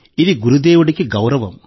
ఇది గురుదేవుడికి గౌరవం